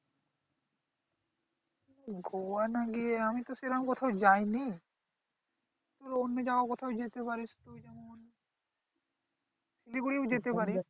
গোয়া না গিয়ে আমি তো সেরকম কোথাও যাইনি অন্য জায়গায় কোথাও যেতে পারিস প্রয়োজন মনে হলে শিলিগুড়ি ও যেতে পারিস এই যে